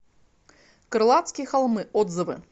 крылатские холмы отзывы